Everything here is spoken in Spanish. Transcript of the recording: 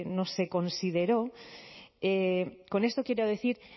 no se consideró con esto quiero decir